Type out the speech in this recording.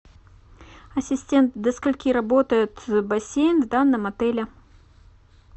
ассистент до скольки работает бассейн в данном отеле